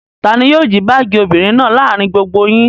Ta ni yóò jí báágì obìnrin náà láàárin gbogbo yín?